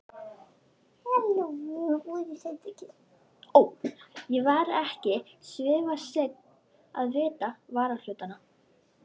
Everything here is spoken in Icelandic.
Ég var ekki svifaseinn að vitja varahlutanna.